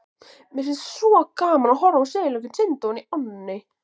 Mér fannst svo gaman að horfa á silunginn synda ofan í ánni.